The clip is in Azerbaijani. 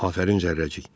Afərin Cərrəcik.